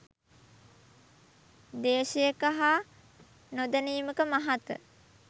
ද්වේශයක හා නො දැනීමක මහත?